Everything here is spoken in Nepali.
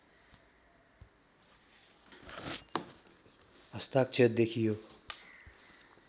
हस्ताक्षर देखियो